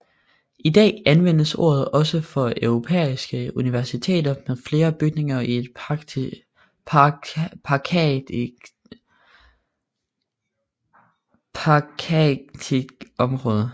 I dag anvendes ordet også for europæiske universiteter med flere bygninger i et parkagtigt område